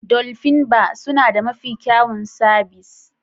"Dolphin bar" suna da mafi kyawun sabis.